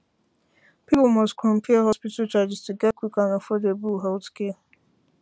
people must compare hospital charges to get quick and affordable healthcare